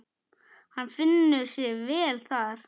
Hann finnur sig vel þar.